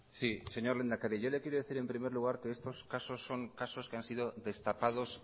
sí señor lehendakari yo le quiero decir en primer lugar que estos casos son casos que han sido destapados